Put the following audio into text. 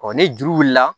ni juru wulila